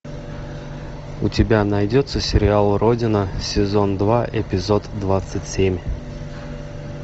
у тебя найдется сериал родина сезон два эпизод двадцать семь